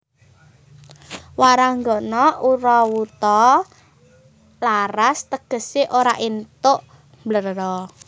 Waranggana ora wuta laras tegesé ora éntuk mbléro